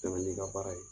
Taa ni ka baara ye